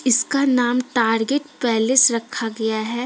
इसका नाम target palace रखा गया है।